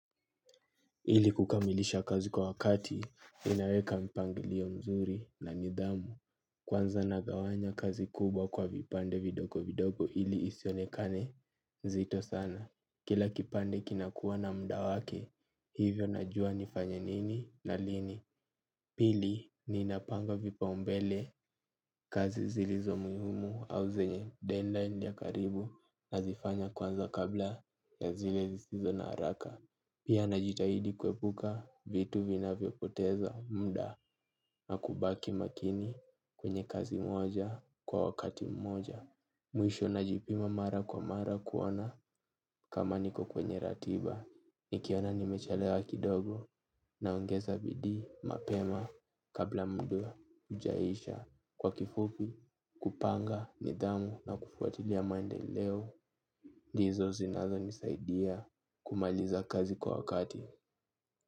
Ili kukamilisha kazi kwa wakati ninaweka mpangilio mzuri na nidhamu. Kwanza nagawanya kazi kubwa kwa vipande vidogo vidogo ili isionekane nzito sana. Kila kipande kinakuwa na muda wake hivyo najua nifanye nini na lini. Pili ninapanga vipa umbele kazi zilizo muhimu au zenye dead line ya karibu nazifanya kwanza kabla ya zile zisizo na haraka. Pia najitahidi kuepuka vitu vinavyo poteza muda na kubaki makini kwenye kazi moja kwa wakati mmoja. Mwisho najipima mara kwa mara kuona kama niko kwenye ratiba. Nikiona nimechalewa kidogo naongeza bidii mapema kabla muda ujaisha. Kwa kifupi kupanga nidhamu na kufuatilia maendeleo. Ndizo zinazo nisaidia kumaliza kazi kwa wakati.